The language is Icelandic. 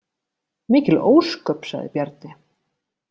Mikil ósköp, sagði Bjarni.